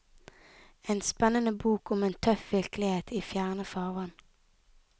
En spennende bok om en tøff virkelighet i fjerne farvann.